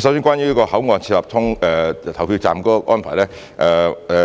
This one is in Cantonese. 首先，關於在口岸設立投票站的安排，